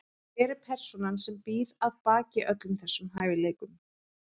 Hver er persónan sem býr að baki öllum þessum hæfileikum?